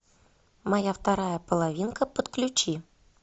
моя вторая половинка подключи